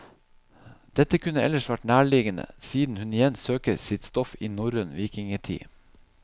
Dette kunne ellers vært nærliggende, siden hun igjen søker sitt stoff i norrøn vikingetid.